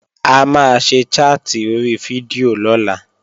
A máa ṣe chat ori fídíò lọ́la